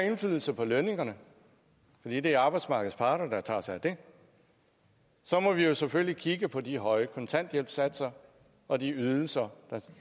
indflydelse på lønningerne fordi det er arbejdsmarkedets parter der tager sig af det så må vi vi selvfølgelig kigge på de høje kontanthjælpssatser og de ydelser der